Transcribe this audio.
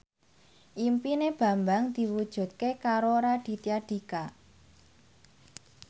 impine Bambang diwujudke karo Raditya Dika